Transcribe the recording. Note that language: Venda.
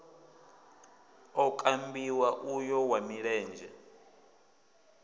o kambiwa uyo wa milenzhe